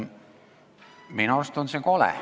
Minu arust on see kole.